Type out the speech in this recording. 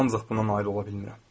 Ancaq buna nail ola bilmirəm.